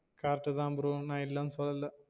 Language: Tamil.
Correct தா bro நான் இல்லன்னு சொல்லல